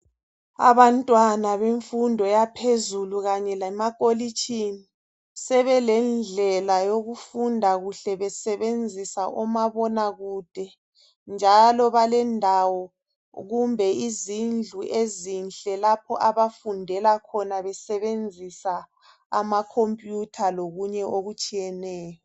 Abantwana bemfundo yaphezulu kanye lemakolitshini, sebelendlela yokufunda kuhle besebenzisa omabona kude, njalo balendawo kumbe izindlu ezinhle lapho abafundela khona besebenzisa amakhompuyutha lokunye okutshiyeneyo.